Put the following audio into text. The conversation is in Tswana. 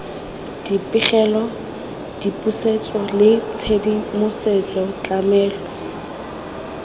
dipegelo dipusetso le tshedimosetso tlamelo